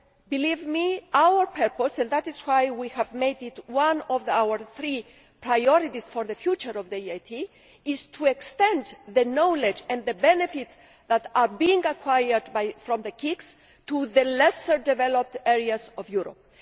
Believe me, our purpose and that is why we have made it one of our three priorities for the future of the EIT is to extend the knowledge and the benefits that are being acquired from the KICs to the less developed areas of Europe.